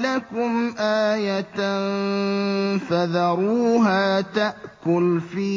لَكُمْ آيَةً ۖ فَذَرُوهَا تَأْكُلْ فِي